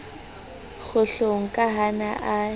kgohlong ka ha a ne